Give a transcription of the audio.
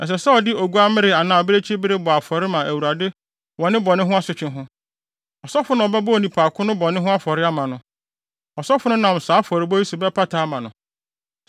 Ɛsɛ sɛ ɔde oguammere anaa abirekyibere bɔ afɔre ma Awurade wɔ ne bɔne ho asotwe ho. Ɔsɔfo na ɔbɛbɔ onipa ko no bɔne no ho afɔre ama no. Ɔsɔfo no nam saa afɔrebɔ yi so bɛpata ama no.